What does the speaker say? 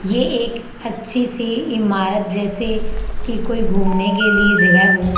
ये एक अच्छी सी इमारत जैसे की कोई घूमने के लिए जगह हो।